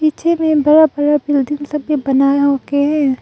पीछे में बड़ा बड़ा बिल्डिंग सब बनाया होके है।